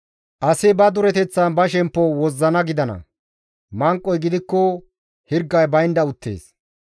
Asi ba dureteththan ba shemppo wozzana gidana; manqoy gidikko hirgay baynda uttees.